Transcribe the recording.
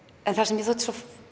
en það sem mér þótti svo